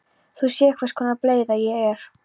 Þú sérð hvers konar bleyða ég er.